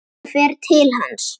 Hún fer til hans.